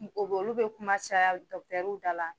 Mɔgɔ bɛ olu bɛ kuma caya dɔgɔtɔrɔw da la